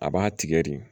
A b'a tigɛ de